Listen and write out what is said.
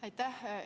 Aitäh!